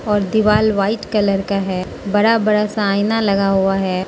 और दीवाल white colour का है बड़ा बड़ा सा आईना लगा हुआ है।